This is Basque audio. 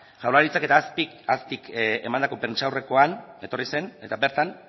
jaurlaritzak eta azpik emandako prentsaurrekoan etorri zen eta bertan